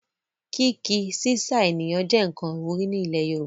Kíí-ki/sísà ènìyàn jẹ nkan iwuri ni ilẹ̀ Yorùbá.